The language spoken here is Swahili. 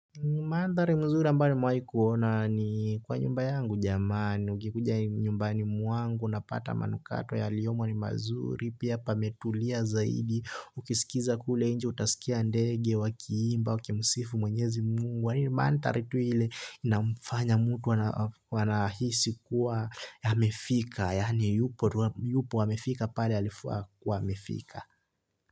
Mandhari nzuri ambayo nmewai kuona ni kwa nyumba yangu jamani, ukikuja nyumbani mwangu, unapata manukato yaliyomo ni mazuri, pia pametulia zaidi, ukisikiza kule nje, utasikia ndege, wakiimba, wakimsifu mwenyezi mungu, yani mandhari tu ile inamfanya mtu wanahisi kuwa, yamefika, yani yupo, yupo, amefika pale alifaa, kuwa amefika.